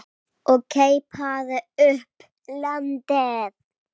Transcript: og keipaði upp að landi.